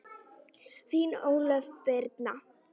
Þín Ólöf Birna.